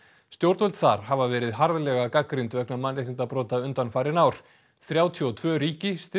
stjórnvöld þar hafa verið harðlega gagnrýnd vegna mannréttindabrota undanfarin ár þrjátíu og tvö ríki styðja